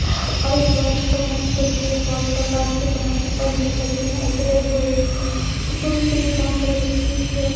और एक बड़ा सा सामान रखी हुई है बहोत सारा मसाज के समान है पंखे लगी हुई हैं लाइटें लगी हुई हैं डिब्बों में क्रीम बहोत सारी रखी हुई है।